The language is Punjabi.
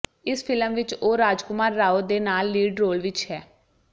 ਇਸ ਫਿਲਮ ਵਿੱਚ ਉਹ ਰਾਜਕੁਮਾਰ ਰਾਓ ਦੇ ਨਾਲ ਲੀਡ ਰੋਲ ਵਿੱਚ ਹੈ